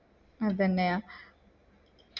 അതെന്നെയാ